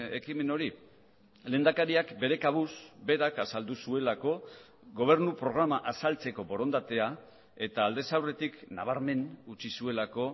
ekimen hori lehendakariak bere kabuz berak azaldu zuelako gobernu programa azaltzeko borondatea eta aldez aurretik nabarmen utzi zuelako